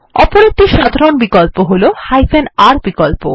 অপর একটি সাধারণ বিকল্প হল r বিকল্প